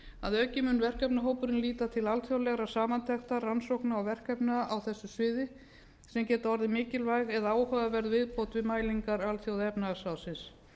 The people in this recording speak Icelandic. að auki mun verkefnahópurinn líta til alþjóðlegrar samantektar rannsókna og verkefna á þessu sviði sem geta orðið mikilvæg eða áhugaverð viðbót við mælingar alþjóðaefnahagsráðsins